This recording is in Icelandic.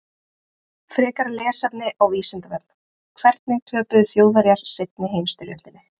Frekara lesefni á Vísindavefnum: Hvernig töpuðu Þjóðverjar seinni heimsstyrjöldinni?